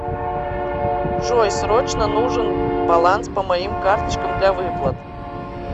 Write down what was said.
джой срочно нужен баланс по моим карточкам для выплат